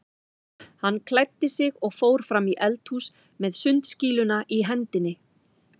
Hann klæddi sig og fór fram í eldhús með sundskýluna í hendinni.